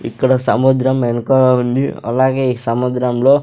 ఇక్కడ సముద్రం ఎనుకా ఉంది అలాగే ఈ సముద్రంలో--